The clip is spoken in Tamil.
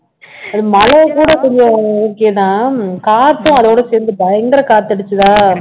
அது மழையை கூட கொஞ்சம் okay தான் காத்தும் அதோட சேர்ந்து பயங்கர காத்து அடிச்சதா